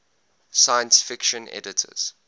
science fiction editors